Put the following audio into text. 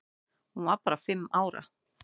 Hún var bara fimm ára.